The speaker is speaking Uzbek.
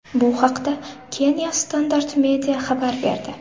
Bu haqda Kenya’s Standard Media xabar berdi .